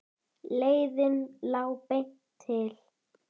Leiðin lá beint til